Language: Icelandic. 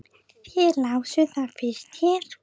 Þið lásuð það fyrst hér!